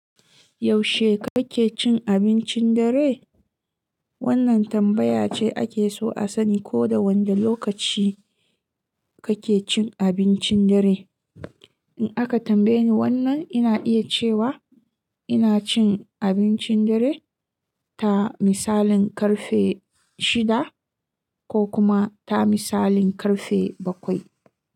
Yaushe kake cin abincin dare? Wannan tambaya ce ake so a sani ko da wanda lokaci kake cin abincin dare. In aka tambaye ni wannan, ina iya cewa ina cin abincin dare ta misalin karfe shida ko kuma ta misalin karfe bakwai.